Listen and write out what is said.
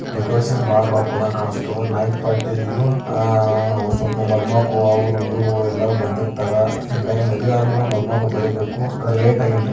decoration ಬಹಳ ರೊಕ್ಕ್ ಹೋದಂಗಾಕಾಸ್ತಾವ್ ನೈಟ ಪಾರ್ಟಿ ಆ ಒಂದ್ ಸ್ವಲ್ಪ ಮದಿ ಮಕ್ಕಳ್ ಅವ್ರ ಇವ್ರ ಎಲ್ಲಾ ಬಂದಿರ್ತಾರ್ ಮದ್ವಿ ಅದ ಬಲೆಕ್ ಮದಿಮಕ್ಲ ಬರಬೇಕು ಅಗರ್ ಲೇಟಗಿ ಎಂರ್ಟಿ --